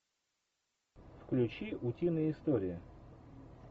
включи утиные истории